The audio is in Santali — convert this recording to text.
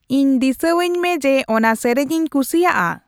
ᱤᱧ ᱫᱤᱥᱟᱹᱭᱟᱹᱧ ᱢᱮ ᱡᱮᱹ ᱚᱱᱟ ᱥᱮᱹᱨᱮᱹᱧᱤᱧ ᱠᱩᱥᱤᱭᱟᱜᱼᱟ ᱾